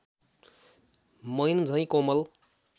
मैनझैँ कोमल